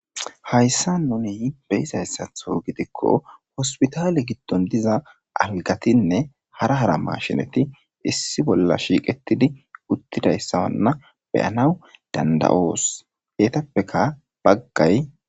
Hayssa nuni beyizayssatho gidikko hospitaale giddon diza algatinne hara hara mashinati issi bolla shiiqetidi uttidayssawanna beyanaw danda7oos heetappeka baggay.